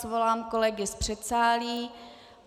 Svolám kolegy z předsálí.